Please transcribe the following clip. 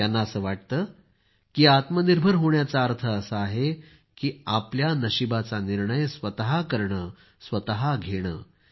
त्यांना असं वाटतं की आत्मनिर्भर होण्याचा अर्थ असा आहे की आपल्या नशीबाचा निर्णय स्वतः करणंघेणं